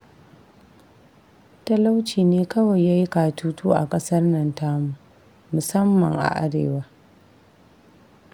Talauci ne kawai ya yi katutu a ƙasar nan tamu, musamman a arewa